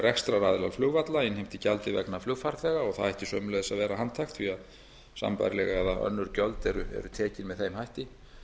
rekstraraðilar flugvalla innheimti gjaldið vegna flugfarþega og það ætti sömuleiðis að vera handhægt því að sambærileg eða önnur gjöld eru tekin með þeim hætti